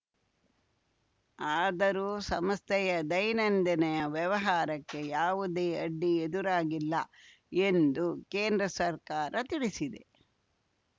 ಆದರೂ ಸಮಸ್ಥೆಯ ದೈನಂದಿನ ವ್ಯವಹಾರಕ್ಕೆ ಯಾವುದೇ ಅಡ್ಡಿ ಎದುರಾಗಿಲ್ಲ ಎಂದು ಕೇಂದ್ರ ಸರ್ಕಾರ ತಿಳಿಸಿದೆ